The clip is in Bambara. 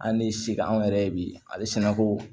An ni se ka anw yɛrɛ ye bi ale sɛnɛko